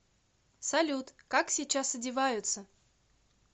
салют как сейчас одеваются